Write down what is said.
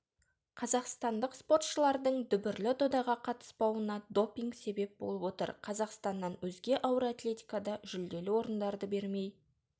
қазақстандық спортшылардың дүбірлі додаға қатыспауына допинг себеп болып отыр қазақстаннан өзге ауыр атлетикада жүлделі орындарды бермей